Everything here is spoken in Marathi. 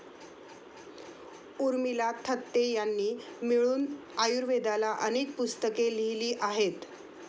उर्मिला थत्ते यांनी मिळून आयुर्वेदाला अनेक पुस्तके लिहिली आहेत.